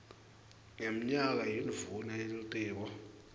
ngemnyaka yindvuna yelitiko